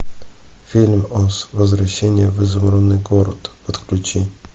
фильм оз возвращение в изумрудный город подключи